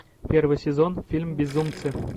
первый сезон фильм безумцы